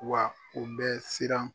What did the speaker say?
Wa o bɛ siran